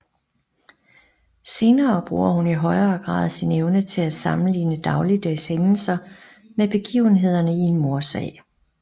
Senere bruger hun i højere grad sin evne til at sammenligne dagligdags hændelser med begivenhederne i en mordsag